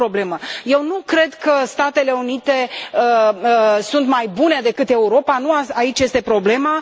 A doua problemă eu nu cred că Statele Unite sunt mai bune decât Europa, nu aici este problema.